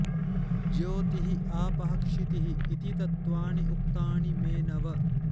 ज्योतिः आपः क्षितिः इति तत्त्वानि उक्तानि मे नव